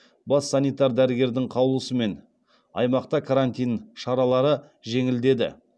бас санитар дәрігердің қаулысымен аймақта карантин шаралары жеңілдеді